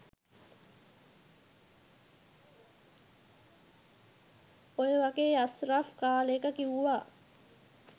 ඔය වගේ අස්රෆ් කාලෙක කිව්වා